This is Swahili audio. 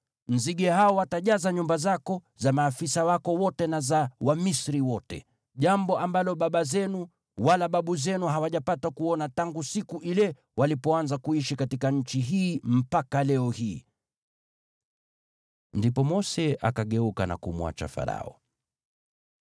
Nzige hao watajaza nyumba zako, za maafisa wako wote na za Wamisri wote. Jambo ambalo baba zenu wala babu zenu hawajapata kuona tangu siku ile walipoanza kuishi katika nchi hii mpaka leo hii.’ ” Ndipo Mose akageuka na kumwacha Farao.